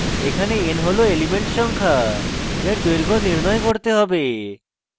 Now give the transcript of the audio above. এখানে n হল element সংখ্যা যার দৈর্ঘ্য নির্ণয় করতে হবে